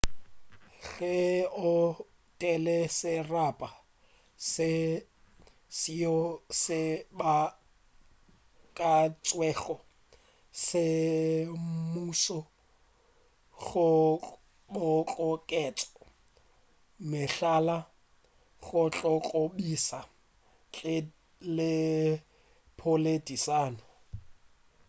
ge o etela serapa seo se beakantšwego semmušo go kgoboketša mehlala go tlo go kobiša ntle le poledišano